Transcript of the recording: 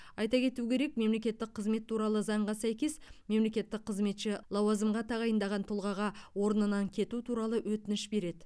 айта кету керек мемлекеттік қызмет туралы заңға сәйкес мемлекеттік қызметші лауазымға тағайындаған тұлғаға орнынан кету туралы өтініш береді